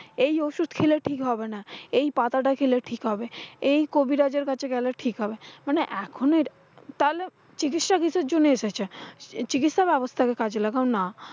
এই ওষুধ খেলে ঠিক হবে না, এই পাতাটা খেলে ঠিক হবে, এই কবিরাজের কাছে গেলে ঠিক হবে। মানে এখনো তাহলে, চিকিৎসা কিসের জন্য এসেছে? আহ চিকিৎসা ব্যবস্থা কে কাজে লাগাও না।